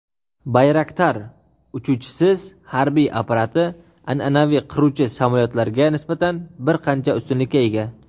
"Bayraktar" uchuvchisiz harbiy apparati an’anaviy qiruvchi samolyotlarga nisbatan bir qancha ustunlikka ega.